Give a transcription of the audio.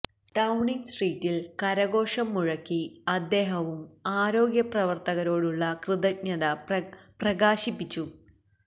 Downing സ്ട്രീറ്റിൽ കരഘോഷം മുഴക്കി അദ്ദേഹവും ആരോഗ്യപ്രവർത്തകരോടുള്ള കൃതജ്ഞത പ്രകാശിപ്പിച്ചു